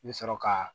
I bi sɔrɔ ka